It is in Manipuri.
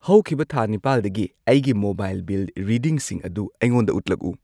ꯍꯧꯈꯤꯕ ꯊꯥ ꯅꯤꯄꯥꯜꯗꯒꯤ ꯑꯩꯒꯤ ꯃꯣꯕꯥꯏꯜ ꯕꯤꯜ ꯔꯤꯗꯤꯡꯁꯤꯡ ꯑꯗꯨ ꯑꯩꯉꯣꯟꯗ ꯎꯠꯂꯛꯎ꯫